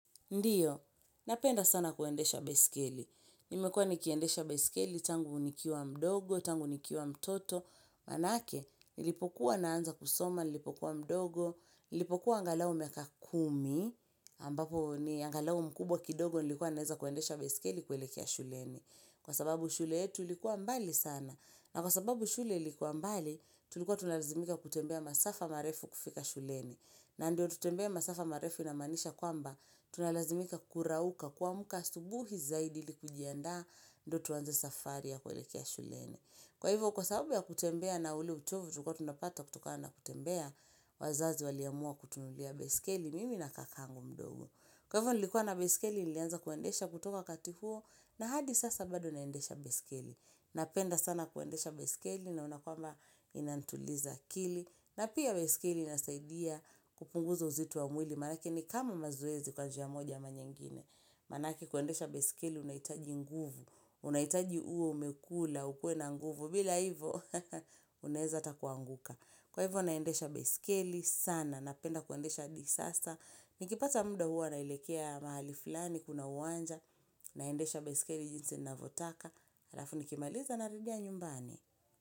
Ndiyo, napenda sana kuendesha baiskeli. Nimekua nikiendesha baiskeli, tangu nikiwa mdogo, tangu nikiwa mtoto. Maanake, nilipokuwa naanza kusoma, nilipokuwa mdogo, nilipokuwa angalau miaka kumi, ambapo ni angalau mkubwa kidogo nilikuwa naeza kuendesha baiskeli kwelekea shuleni. Kwa sababu shule yetu likuwa mbali sana. Na kwa sababu shule ilikuwa mbali, tulikuwa tunalazimika kutembea masafa marefu kufika shuleni. Na ndio tutembee masafa marefu inamaanisha kwamba tunalazimika kurauka kuamka asubuhi zaidi ili kujiandaa ndo tuanze safari ya kuelekea shuleni. Kwa hivyo kwa sababu ya kutembea na ule utovu tulikua tunapata kutokana kutembea, wazazi waliamua kutunulia baiskeli mimi na kakangu mdogo. Kwa hivyo nilikuwa na baiskeli nilianza kuendesha kutoka kati huo na hadi sasa bado naendesha baiskeli Napenda sana kuendesha baiskeli naona kwamba inantuliza akili. Na pia baiskeli inasaidia kupunguza uzitu wa mwili. Maanake ni kama mazoezi kwa njia moja ama nyengine. Maanake kuendesha baiskeli unaitaji nguvu. Unaitaji uo umekula, ukue na nguvu. Bila hivo, unaeza ata kuanguka. Kwa hivo, naendesha baiskeli sana. Napenda kuendesha hadi sasa. Nikipata mda huwa naelekea mahali fulani kuna uwanja. Naendesha baiskeli jinsi ninavotaka. Alafu nikimaliza narudia nyumbani.